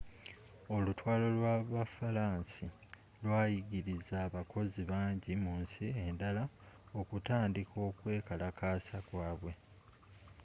olutalo lwabufalansa lwayigiriza abakozi bangi munsi endala okutandika okwekalakaasa kwabwe